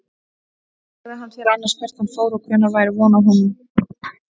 Sagði hann þér annars hvert hann fór og hvenær væri von á honum aftur?